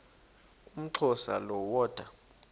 umxhosa lo woda